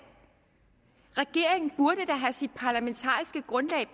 regeringen burde da have sit parlamentariske grundlag